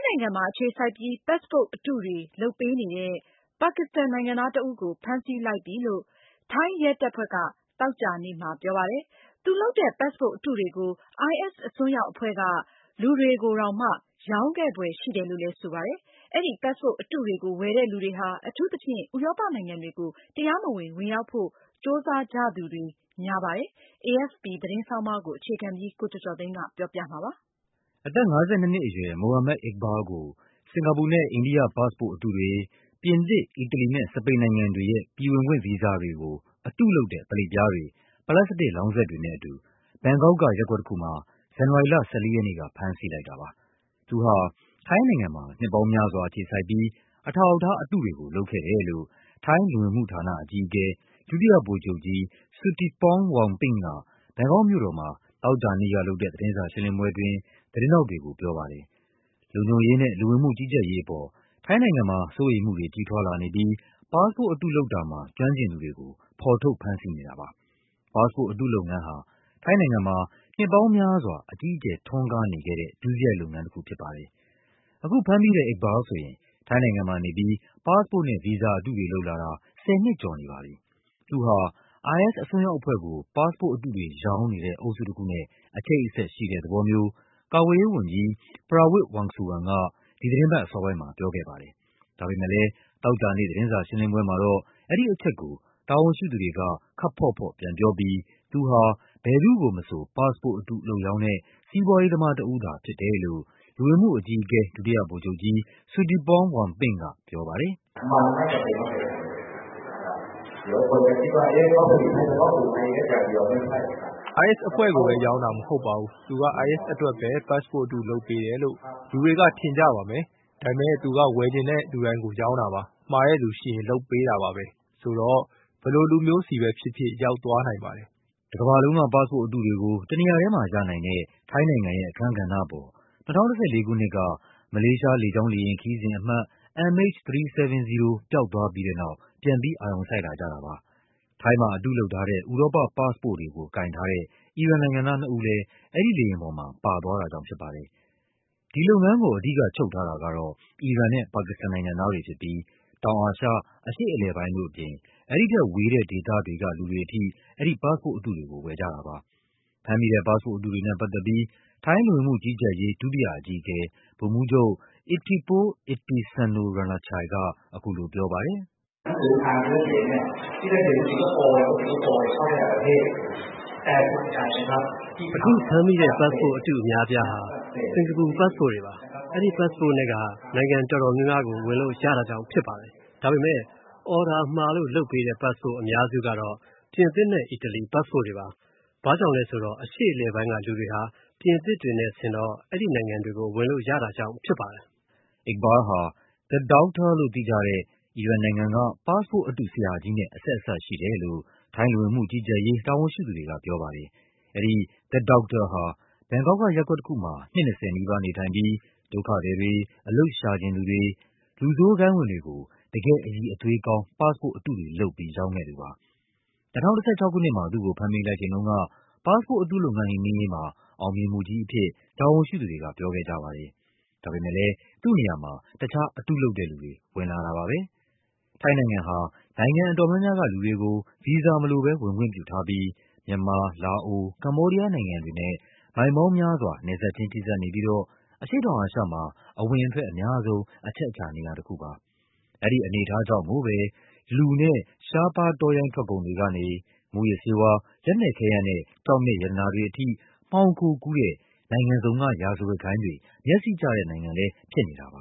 ိုင်ငံမှာ အခြေစိုက်ပြီးpassport အတုတွေ လုပ်ပေးနေတဲ့ ပါကစ္စတန်နိုင်ငံသားတဦးကို ဖမ်းဆီးလိုက်ပြီလို့ ထိုင်းရဲတပ်ဖွဲ့က သောကြာနေ့မှာ ပြောပါတယ်။ သူလုပ်တဲ့ passport အတုတွေကို IS အစွန်းရောက်အဖွဲ့က လူတွေကိုတောင်မှ ရောင်းခဲ့ဖွယ်ရှိတယ်လို့လည်း ဆိုပါတယ်။ အဲဒီ passport အတုတွေကို ဝယ်တဲ့လူတွေဟာ အထူးသဖြင့် ဥရောပနိုင်ငံတွေကို တရားမဝင် ဝင်ရောက်ဖို့ ကြိုးစားကြသူတွေများပါတယ်။ AFP သတင်းဆောင်းပါးကို ကိုကျော်ကျော်သိန်းက ပြောပြပါမယ်။ အသက် ၅၂ နှစ်အရွယ် Mohammad Iqbal ကို စင်္ကာပူနဲ့ အိန္ဒိယ ပတ်စ်ပို့တ်အတုတွေ၊ ပြင်သစ်၊ အီတလီနဲ့ စပိန်နိုင်ငံတွေ ရဲ့ ပြည်ဝင်ခွင့်ဗီဇာတွေကို အတုလုပ်တဲ့ ပလိတ်ပြားတွေ၊ ပလတ်စတစ်လောင်းစက်တွေနဲ့အတူ ဘန်ကောက်က ရပ်ကွက်တခုမှာ ဇန်နဝါရီလ ၁၄ ရက်နေ့က ဖမ်းဆီးလိုက်တာပါ။ သူဟာ ထိုင်းနိုင်ငံမှာ နှစ်ပေါင်းများစွာ အခြေစိုက်ပြီး အထောက်အထားအတုတွေကို လုပ်ခဲ့တယ်လို့ ထိုင်းလူဝင်မှုဌာန အကြီးအကဲ ဒုတိယဗိုလ်ချုပ်ကြီး Suttipong Vongpint က ဘန်ကောက်မြို့တော်မှာ သောကြာနေ့ကလုပ်တဲ့ သတင်းစာရှင်းလင်း ပွဲအတွင်း သတင်းထောက်တွေကို ပြောပါတယ်။ လုံခြုံရေးနဲ့ လူဝင်မှုကြီးကြပ်ရေးအပေါ် ထိုင်းနိုင်ငံမှာ စိုးရိမ်မှုတွေ ကြီးထွားလာနေပြီး ပတ်စ်ပို့တ်အတုလုပ်တာမှာ ကျွမ်းကျင်သူ တွေကို ဖော်ထုတ် ဖမ်းဆီးနေတာပါ။ ပတ်စ်ပို့တ်အတုလုပ်ငန်းဟာ ထိုင်းနိုင်ငံမှာ နှစ်ပေါင်းများစွာ အကြီးအကျယ်ထွန်းကားနေတဲ့ ဒုစရိုက်လုပ်ငန်းတခုဖြစ်ပါတယ်။ အခုဖမ်းမိတဲ့ Iqbal ဆိုရင် ထိုင်းနိုင်ငံမှာနေပြီး ပတ်စ်ပို့တ်နဲ့ ဗီဇာအတုတွေလုပ်လာတာ ၁၀ နှစ်ကျော်နေပါပြီ။ သူဟာ IS အစွန်း ရောက်အဖွဲ့ကို ပတ်စ်ပို့တ်အတုတွေ ရောင်းနေတဲ့ အုပ်စုတခုနဲ့ အချိတ်အဆက်ရှိတဲ့သဘောမျိုး ကာကွယ်ရေးဝန်ကြီး Prawit Wongsuwan က ဒီသီတင်းပတ်အစောပိုင်းမှာ ပြောခဲ့ပါတယ်။ ဒါပေမဲ့လဲ သောကြာနေ့ သတင်းစာရှင်းလင်းပွဲမှာတော့ အဲဒီ အချက်ကို တာဝန်ရှိသူတွေက ခပ်ဖေါ့ဖေါ့ပြန်ပြောပြီး သူဟာ ဘယ်သူ့ကိုမဆို ပတ်စ်ပို့အတုလုပ်ရောင်းတဲ့ စီးပွားရေးသမားတဦး သာဖြစ်တယ်လို့ လူဝင်မှုအကြီးအကဲ ဒုတိယဗိုလ်ချုပ်ကြီး Suttipong Vongpint ကပြောပါတယ်။ “IS အဖွဲ့ကိုပဲ ရောင်းတာမဟုတ်ပါဘူး။ သူက IS အတွက်ပဲ ပတ်စ်ပို့တ်အတု လုပ်ပေးတယ်လို့ လူတွေက ထင်ကြပါမယ်။ ဒါပေမဲ့ သူက ဝယ်ချင်တဲ့လူတိုင်းကို ရောင်းတာပါ။ မှာတဲ့လူရှိရင် လုပ်ပေးတာပါပဲ။ ဆိုတော့ ဘယ်လို လူမျိုးစီပဲ ဖြစ်ဖြစ် ရောက်သွားနိုင်ပါတယ်။” တကမ္ဘာလုံးက ပတ်စ်ပို့အတုတွေကို တနေရာတည်းမှာရနိုင်တဲ့ ထိုင်းနိုင်ငံရဲ့အခန်းကဏ္ဍအပေါ် ၂၀၁၄ ခုနှစ်က မလေးရှား လေကြောင်း လေယာဉ်ခရီးစဉ်အမှတ် MH370 ပျောက်သွားပြီးတဲ့နောက် ပြန်ပြီး အာရုံစိုက်လာကြတာပါ။ ထိုင်းမှာအတုလုပ်ထား တဲ့ ဥရောပပတ်စ်ပို့တွေကို ကိုင်ထားတဲ့ အီရန်နိုင်ငံသားနှစ်ဦးလည်း အဲဒီလေယာဉ်ပေါ်မှာ ပါသွားတာကြောင့်ဖြစ်ပါတယ်။ ဒီလုပ်ငန်းကို အဓိကချုပ်ထားတာကတော့ အီရန်နဲ့ပါကစ္စတန်နိုင်ငံသားတွေဖြစ်ပြီး တောင်အာရှ၊ အရှေ့အလယ်ပိုင်းတို့အပြင် အဲဒီ ထက်ဝေးတဲ့ဒေသတွေက လူတွေအထိ အဲဒီပတ်စ်ပို့အတုတွေကို ဝယ်ကြတာပါ။ ဖမ်းမိတဲ့ ပတ်စ်ပို့အတုတွေနဲ့ပတ်သက်ပြီး ထိုင်းလူဝင်မှုကြီးကြပ်ရေး ဒုတိယအကြီးအကဲ ဗိုလ်မှူးချုပ် Ittipol Ittisarnronachai က အခုလိုပြောပါတယ်။ “အခုဖမ်းမိတဲ့ ပတ်စ်ပို့အတုအများအပြားက စင်္ကာပူပတ်စ်ပို့တွေပါ။ အဲဒီပတ်စ်ပို့နဲ့က နိုင်ငံတော်များများကို ဝင်လို့ရ တာကြောင့်ဖြစ်ပါတယ်။ ဒါပေမဲ့ အော်ဒါမှာလို့လုပ်ပေးတဲ့ ပတ်စ်ပို့အများစုကတော့ ပြင်သစ်နဲ့ အီတလီပတ်စ်ပို့တွေပါ။ ဘာကြောင့် လဲဆို အရှေ့အလယ်ပိုင်းကလူတွေဟာ ပြင်သစ်တွေနဲ့ဆင်တော့ အဲဒီနိုင်ငံတွေကို ဝင်လို့ရတာကြောင့်ဖြစ်ပါတယ်။” Iqbal ဟာ The Doctor လို့သိကြတဲ့ အီရန်နိုင်ငံက ပတ်စ်ပို့အတုဆရာကြီးနဲ့ အဆက်အစပ်ရှိတယ်လို့ ထိုင်းလူဝင်မှုကြီးကြပ်ရေး တာဝန်ရှိသူတွေကပြောပါတယ်။ အဲဒီ The Doctor ဟာ ဘန်ကောက်က ရပ်ကွက်တခုမှာ နှစ် ၂၀ နီးပါးနေထိုင်ပြီး ဒုက္ခသည် တွေ၊ အလုပ်ရှာချင်သူတွေ၊ လူဆိုးဂိုဏ်းဝင်တွေကို တကယ့် အရည်အသွေးကောင်း ပတ်စ်ပို့အတုတွေလုပ်ပြီး ရောင်းခဲ့သူပါ။ ၂၀၁၆ ခုနှစ်မှာ သူ့ကိုဖမ်းမိလိုက်ချိန်တုန်းက ပတ်စ်ပို့အတုလုပ်ငန်း နှိမ်နင်းရေးမှာ အောင်မြင်မှုကြီးအဖြစ် တာဝန်ရှိသူတွေက ပြောခဲ့ကြပါတယ်။ ဒါပေမဲ့လည်း သူနေ့ရာမှာ တခြား အတုလုပ်တဲ့လူတွေ ဝင်လာတာပါပဲ။ ထိုင်းနိုင်ငံဟာ နိုင်ငံအတော်များများကလူတွေကို ဗီဇာမလိုဘဲ ဝင်ခွင့်ပြုထားပြီး မြန်မာ၊ လာအို၊ ကမ္ဘောဒီးယားနိုင်ငံတွေနဲ့ မိုင် ပေါင်းများစွာ နယ်စပ်ချင်းထိစပ်နေပြီးတော့ အရှေ့တောင်အာရှမှာ အဝင်အထွက်အများဆုံး အချက်အခြာနေရာပါ။ အဲဒီအနေအထားကြောင့်ကိုပဲ လူနဲ့ ရှားပါးတောရိုင်းထွက်ကုန်တွေကနေ မူးယစ်ဆေးဝါး၊ လက်နက်ခဲယမ်းနဲ့ ကျောက်မျက် ရတနာတွေထိ မှောင်ခိုကူးတဲ့ နိုင်ငံစုံက ရာဇဝတ်ဂိုဏ်းတွေ မျက်စေ့ကျတဲ့နိုင်ငံလည်း ဖြစ်နေတာပါ